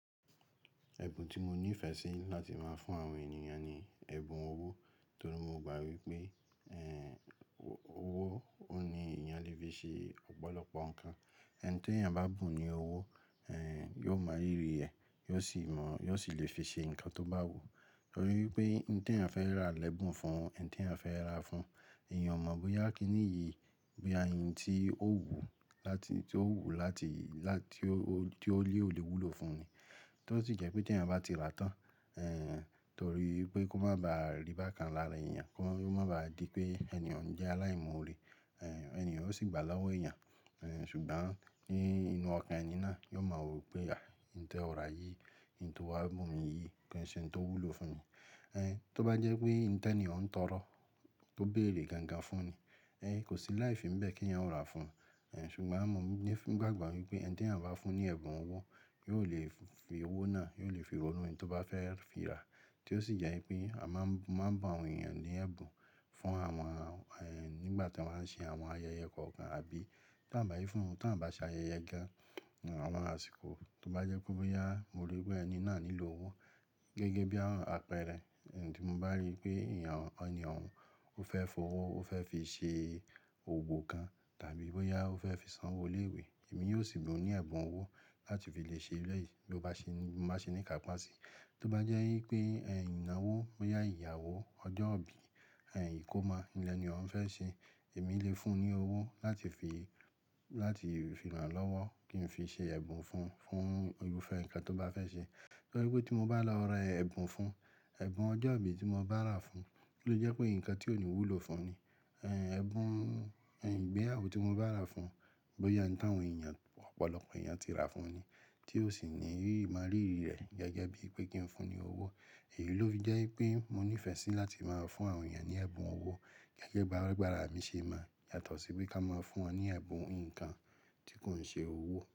Ẹ̀bùn tí mo ní ìfẹ́ sí láti máa fún àwọn ènìyàn ni ẹ̀bùn owó, torí mo gbà wípé, ẹ́, owó ó ní èèyàn le fi ṣe ọ̀pọ̀lọpọ̀ nǹkan. Ẹni tí èèyàn bá bùn ní owó, yóò mo ríri rẹ, yóò sì mọ̀, yóò sì lè fi ṣe nǹkan tó bá wù. Torí wípé, ohun tí èèyàn fẹ́ rà lẹ́bùn fún, ohun tí èèyàn fẹ́ rà fún, èèyàn mọ̀ bóyá kíní yi, bo ya ntí ó wù ú láti, tí ó wù ú láti, láti, tí ó lé ò lè wúlò fún ni. To sì jẹ́ pé tí èèyàn bá ti rà tán, torí wípé kó má ba à rí bákan lára èèyàn, kó má ba à di pé èèyàn jẹ́ aláìmọ́ọ̀rẹ́, ẹ́, èèyàn ó sì gba lọ́wọ́ èèyàn. Ẹ̀, ṣùgbọ́n ní inú ọkàn ẹni náà, yóò mọ wípé, àí, ohun tí ó rà yìí, ohun tí ó wá bùn mi yìí ki ń ṣe ohun tó wúlò fún mi. Ẹ́, tó bá jẹ́ pé ohun tí èèyàn ń tọrọ tó bèrè gangan fún ni, ẹ́, kò sí láì fi bẹ́ẹ̀ kí èèyàn ó rà á fún un. Ẹ̀, ṣùgbọ́n àmọ́ mo fi ni gbàgbọ́ wípé eni tí èèyàn bá fún ní ẹ̀bùn owó, yóò lè fi owó náà, yóò lè fi owó náà tó bá fẹ́ fi rà. To sì jẹ́ wi pé a máa ń, máa ń bùn àwọn ènìyàn ní ẹ̀bùn fún àwọn, nígbà tí wọ́n bá ń ṣe àwọn ayẹyẹ kọ̀ọ̀kan àbí ta ń bá yí fún wọn tí wọ́n bá ṣe ayẹyẹ gan, àwọn àsìkò. Tó bá jẹ́ pẹ bóyá mo rí pé ẹni náà nílò owó gẹ́gẹ́ bí àwọn àpẹẹrẹ ohun tí mo bá rí pé èèyàn, èèyàn ó fẹ́ fowó, ó fẹ́ fi ṣe òòwo kan tàbí bóyá ó fẹ́ fi san owó ilé ìwé, èmi yóò sì bùn ún ní ẹ̀bùn owó láti fi lè ṣe eleyìí bí mọ bá ṣe ní, bá ṣe ní ikáápásí. Tó bá jẹ́ wípé inàwó, bóyá ìyàwó, ọjọ́ ìbí, ìkómọ ni èèni ohuń fẹ́ ṣe, èmi lè fún un ní owó láti fi, láti fi ràn lọ́wọ́ kí n fi ṣe ẹ̀bùn fún, fún irúfẹ́ nǹkan tó bá fẹ́ ṣe. Torí wípé tí mo bá lọ ra ẹ̀bùn fún, ẹ̀bùn ọjọ́ ìbí tí mo bá rà fún, kí ló jẹ́ pé nǹkan tí òní wúlò fún ni. Ẹbùn ìgbéyàwó tí mo bá rà fún, bóyá ohun tí àwọn èèyàn ọ̀pọ̀lọpọ̀ èèyàn ti rà fún ni tí ó sì ní mo rírí rẹ̀ gẹ́gẹ́ bí i pé kí n fún un ní owó. Èyí ló fi jẹ́ wípé mo nífẹ̀ẹ́ sí láti máa fún àwọn èèyàn ní ẹ̀bùn owó gẹ́gẹ́ bí agbára mi ṣe mo yàtọ̀ sí pe ká máa fún wọn ní ẹ̀bùn nǹkan tí kò ń ṣe owó.